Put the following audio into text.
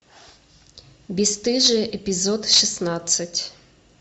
бесстыжие эпизод шестнадцать